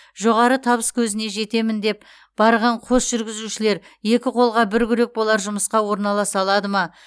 жоғары табыс көзіне жетемін деп барған қос жүргізушілер екі қолға бір күрек болар жұмысқа орналаса алады ма